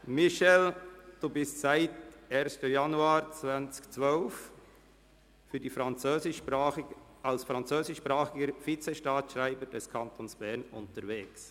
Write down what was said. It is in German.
Michel Walthert, Sie sind seit dem 1. Januar 2012 als französischsprachiger Vizestaatsschreiber des Kantons Bern unterwegs.